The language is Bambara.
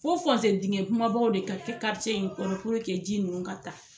Fo fonse dingɛ kumabaw de ka kɛ in kɔnɔ ji nunnu ka taa.